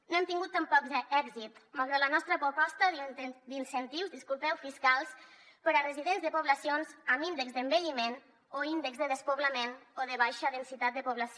no hem tingut tampoc èxit malgrat la nostra proposta d’incentius fiscals per a residents de poblacions amb índexs d’envelliment o índexs de despoblament o de baixa densitat de població